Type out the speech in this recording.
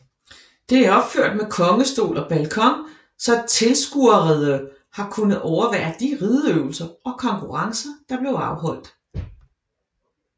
Det er opført med kongestol og balkon så tilskuerede har kunnet overvære de rideøvelser og konkurrencer der blev afholdt